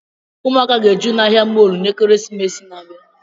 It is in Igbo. Ụmụ aka ga-eju n'ahia mọlụ n'kirisimasi n'abia